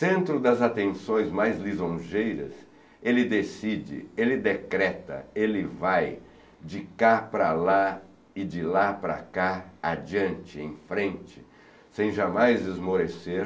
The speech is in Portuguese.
Centro das atenções mais lisonjeiras, ele decide, ele decreta, ele vai de cá para lá e de lá para cá, adiante, em frente, sem jamais esmorecer,